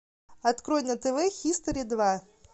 открой на тв хистори два